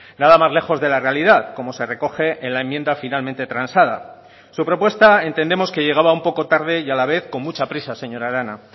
nada más lejos de la realidad como se recoge en la enmienda finalmente transada su propuesta entendemos que llegaba un poco tarde y a la vez con mucha prisa señora arana